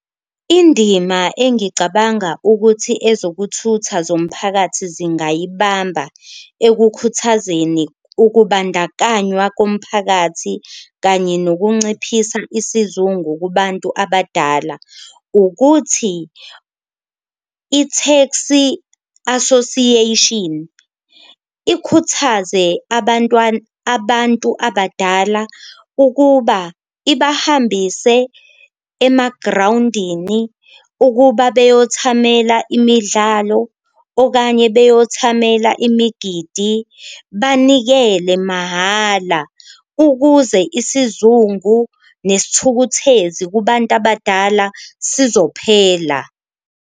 Indima engicabanga ukuthi ezokuthutha zomphakathi zingayibamba ekukhuthazeni ukubandakanywa komphakathi, kanye nokunciphisa isizungu kubantu abadala. Ukuthi i-taxi association ikhuthaze abantu abadala ukuba ibahambise emagrawundini ukuba beyothamela imidlalo, okanye beyothamela imigidi banikele mahhala ukuze isizungu nesithukuthezi kubantu abadala sizophela.